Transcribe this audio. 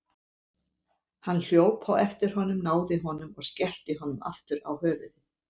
Hann hljóp á eftir honum, náði honum og skellti honum aftur á höfuðið.